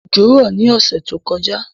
Òjò rọ̀ ní ọ̀sẹ̀ tó kọjá